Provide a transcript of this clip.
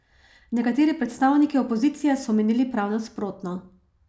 Nekateri predstavniki opozicije so menili prav nasprotno.